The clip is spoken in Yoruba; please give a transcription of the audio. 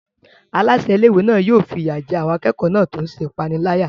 Aláṣẹ ilé-ìwé náà yóò fi ìyà jẹ àwọn akẹ́kọ̀ọ́ náà tó ń ṣe ìpániláyà.